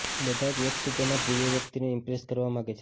બધા જ વ્યક્તિ તેના પ્રિય વ્યક્તિને ઈમ્પ્રેસ કરવા માંગે છે